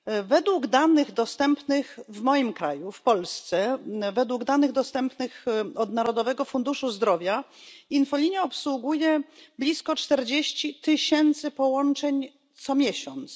Według danych dostępnych w moim kraju, w Polsce, pochodzących z Narodowego Funduszu Zdrowia infolinia obsługuje blisko 40 tysięcy połączeń miesięcznie.